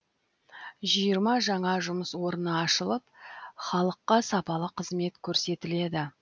жиырма жаңа жұмыс орны ашылып халыққа сапалы қызмет көрсетіледі